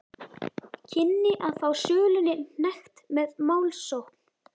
kynni að fá sölunni hnekkt með málsókn.